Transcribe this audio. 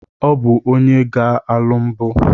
Ọ bụ onye ga-alụ mbụ.